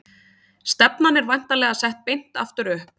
Stefnan er væntanlega sett beint aftur upp?